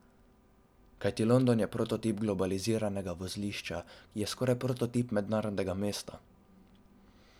Kajti London je prototip globaliziranega vozlišča, je skoraj prototip mednarodnega mesta.